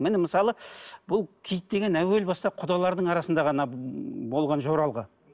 міне мысалы бұл киіт деген әуел бастан құдалардың арасында ғана болған жоралғы